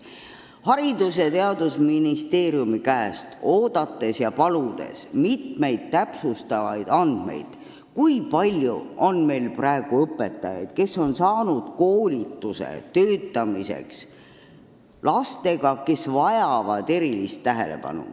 Me oleme Haridus- ja Teadusministeeriumilt oodanud ja palunud täpsustavaid andmeid, kui palju on meil õpetajaid, kes on saanud koolitust, et töötada erilist tähelepanu vajavate lastega.